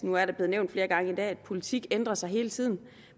nu er det blevet nævnt flere gange i dag at politik ændrer sig hele tiden